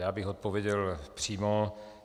Já bych odpověděl přímo.